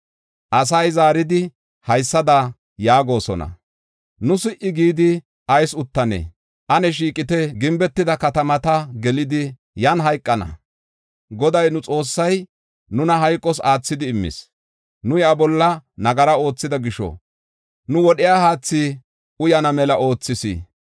Asay zaaridi haysada yaagosona: “Nu si77i gidi ayis uttanee? Ane shiiqite; gimbetida katamata gelidi yan hayqana. Goday nu Xoossay nuna hayqos aathidi immis. Nu iya bolla nagara oothida gisho, nu wodhiya haathi uyana mela oothis.